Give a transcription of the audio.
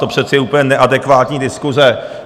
To přece je úplně neadekvátní diskuse.